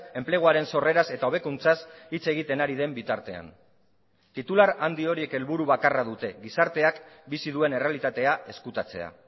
enpleguaren sorreraz eta hobekuntzaz hitz egiten ari den bitartean titular handi horiek helburu bakarra dute gizarteak bizi duen errealitatea ezkutatzea